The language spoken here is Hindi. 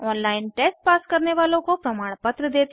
ऑनलाइन टेस्ट पास करने वालों को प्रमाणपत्र देते हैं